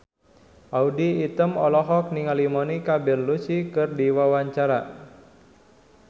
Audy Item olohok ningali Monica Belluci keur diwawancara